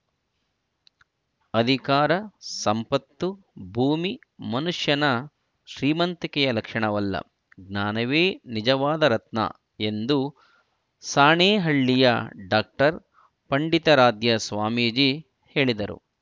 ಅಧಿಕಾರ ಸಂಪತ್ತು ಭೂಮಿ ಮನುಷ್ಯನ ಶ್ರೀಮಂತಿಕೆಯ ಲಕ್ಷಣವಲ್ಲ ಜ್ಞಾನವೇ ನಿಜವಾದ ರತ್ನ ಎಂದು ಸಾಣೇಹಳ್ಳಿಯ ಡಾಕ್ಟರ್ ಪಂಡಿತಾರಾಧ್ಯ ಸ್ವಾಮೀಜಿ ಹೇಳಿದರು